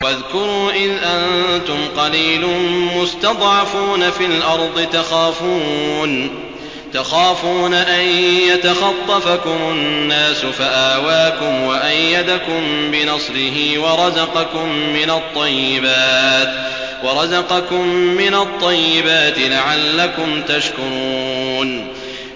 وَاذْكُرُوا إِذْ أَنتُمْ قَلِيلٌ مُّسْتَضْعَفُونَ فِي الْأَرْضِ تَخَافُونَ أَن يَتَخَطَّفَكُمُ النَّاسُ فَآوَاكُمْ وَأَيَّدَكُم بِنَصْرِهِ وَرَزَقَكُم مِّنَ الطَّيِّبَاتِ لَعَلَّكُمْ تَشْكُرُونَ